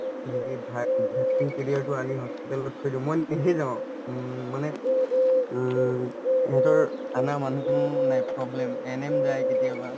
হেৰি via vaccine schedule তো আনি hospital ত থৈ দিওঁ মই নিজে যাওঁ উম মানে উম সেহেতৰ আনা মানুহ নাই problem ANM যায় কেতিয়াবা